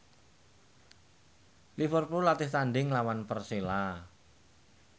Liverpool latih tandhing nglawan Persela